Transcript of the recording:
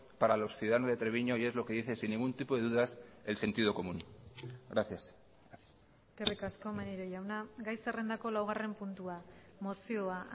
para los ciudadanos de treviño y es lo que dice sin ningún tipo de dudas el sentido común gracias eskerrik asko maneiro jauna gai zerrendako laugarren puntua mozioa